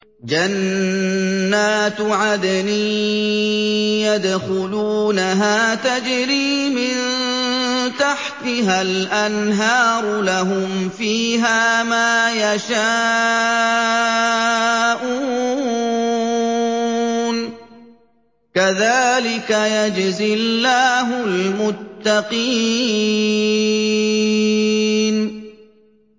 جَنَّاتُ عَدْنٍ يَدْخُلُونَهَا تَجْرِي مِن تَحْتِهَا الْأَنْهَارُ ۖ لَهُمْ فِيهَا مَا يَشَاءُونَ ۚ كَذَٰلِكَ يَجْزِي اللَّهُ الْمُتَّقِينَ